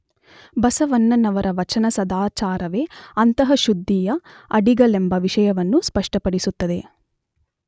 ಬಸವಣ್ಣನವರ ವಚನ ಸದಾಚಾರವೇ ಅಂತಃಶುದ್ಧಿಯ ಅಡಿಗಲ್ಲೆಂಬ ವಿಷಯವನ್ನು ಸ್ಪಷ್ಟಪಡಿಸುತ್ತದೆ.